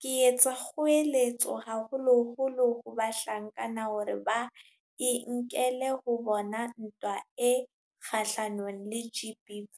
ke etsa kgoeletso haholoholo ho bahlankana, hore ba e nkele ho bona ntwa e kgahlanong le GBV.